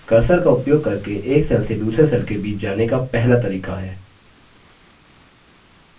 cursor का उपयोग करके एक cells से दूसरे cells के बीच जाने का पहला तरीका है